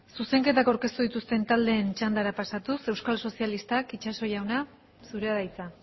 zuzenketak aurkeztu dituzten taldeen txandara pasatuz euskal sozialistak itxaso jauna zurea da hitza